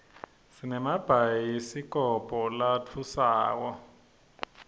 sinemabhayidikobho latfusako